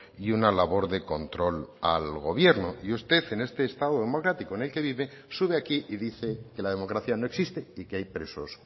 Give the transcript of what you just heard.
y una labor de control al gobierno y usted en este estado democrático en el que vive sube aquí y dice que la democracia no existe y que hay presos